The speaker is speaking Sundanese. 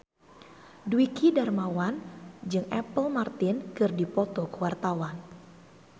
Dwiki Darmawan jeung Apple Martin keur dipoto ku wartawan